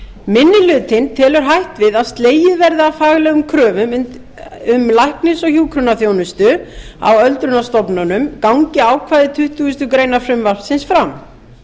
niður minni hlutinn telur hætt við að slegið verði af faglegum kröfum um læknis og hjúkrunarþjónustu á öldrunarstofnunum gangi ákvæði tuttugustu greinar frumvarpsins fram